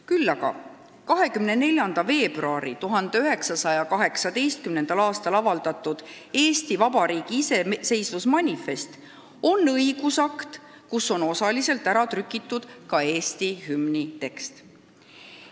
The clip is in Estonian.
Küll aga on 24. veebruaril 1918. aastal avaldatud Eesti Vabariigi iseseisvusmanifest õigusakt, kus on osaliselt ära trükitud ka Eesti hümni tekst.